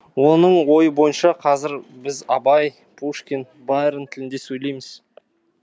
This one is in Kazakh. оның ойы бойынша қазір біз абай пушкин байрон тілінде сөйлейміз